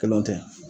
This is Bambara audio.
Kelen tɛ